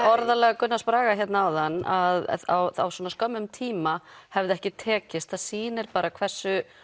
orðalag Gunnars Braga hérna áðan að á svona skömmum tíma hefði ekki tekist það sýnir bara hversu